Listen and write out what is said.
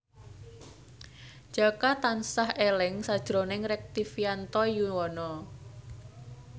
Jaka tansah eling sakjroning Rektivianto Yoewono